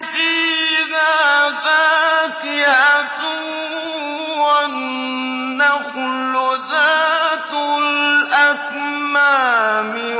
فِيهَا فَاكِهَةٌ وَالنَّخْلُ ذَاتُ الْأَكْمَامِ